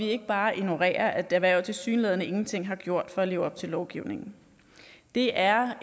ikke bare ignorerer at erhvervet tilsyneladende ingenting har gjort for at leve op til lovgivningen det er